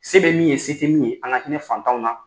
Se bɛ min ye se tɛ min ye an ka hinɛ fantanw na.